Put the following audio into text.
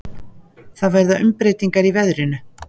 Það verða umbreytingar í veðrinu.